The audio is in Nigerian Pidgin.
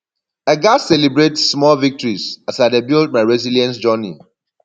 i gats celebrate small victories as i dey build my resilience journey